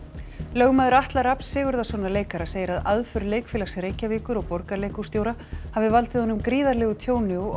lögmaður Atla Rafns Sigurðarsonar leikara segir að aðför Leikfélags Reykjavíkur og Borgarleikhússtjóra hafi valdið honum gríðarlegu tjóni og